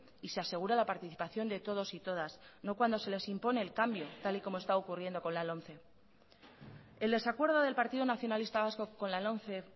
y se asegura la participación de todos y todas no cuando se les impone el cambio tal como esta ocurriendo con las lomce el desacuerdo del partido nacionalista vasco con la lomce